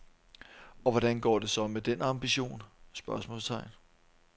Og hvordan går det så med den ambition? spørgsmålstegn